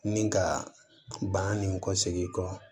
Ni ka ban ni kɔsegi kɔ